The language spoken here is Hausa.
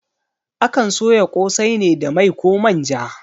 Akan soya ƙosai ne da mai koh manja